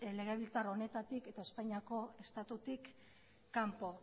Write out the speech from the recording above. legebiltzar honetatik eta espainiako estatutik kanpo